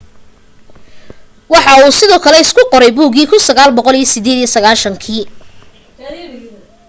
waxa uu sidoo kale isku qoray buugii 1998